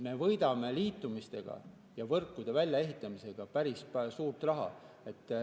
Me võidame nende liitumistega ja võrkude väljaehitamisega päris suure raha.